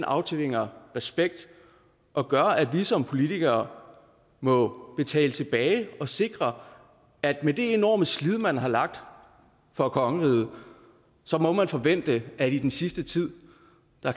aftvinger respekt og gør at vi som politikere må betale tilbage og sikre at med det enorme slid man har lagt for kongeriget så må man forvente at man i den sidste tid